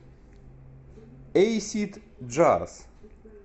эйсид джаз